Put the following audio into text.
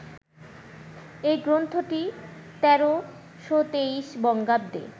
এই গ্রন্থটি ১৩২৩ বঙ্গাব্দে